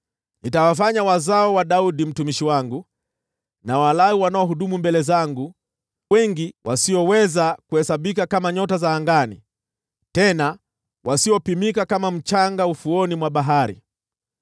Nitawafanya wazao wa Daudi mtumishi wangu na Walawi wanaohudumu mbele zangu wengi, wasioweza kuhesabika kama nyota za angani, tena wasiopimika kama mchanga wa ufuoni mwa bahari.’ ”